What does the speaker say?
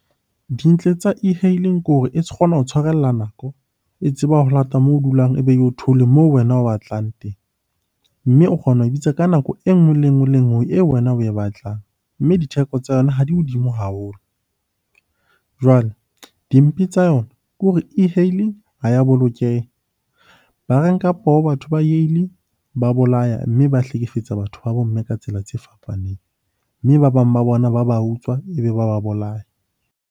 Dintle tsa e-hailing ke hore e kgona ho tshwarella nako, e tseba ho lata moo dulang ebe eo theole moo wena o batlang teng. Mme o kgona ho bitsa ka nako enngwe le enngwe, le enngwe eo wena oe batlang. Mme ditheko tsa yona ha di hodimo haholo. Jwale dimpe tsa yona ke hore e_hailing ha ya bolokeha. Ba re nka poho batho ba , ba bolaya, mme ba hlekefetsa batho ba bo mme ka tsela tse fapaneng. Mme ba bang ba bona ba ba utswa, ebe ba ba bolaya.